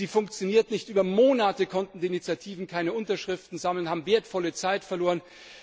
Sie funktionierte nicht. Über Monate konnten die Initiativen keine Unterschriften sammeln, haben wertvolle Zeit verloren.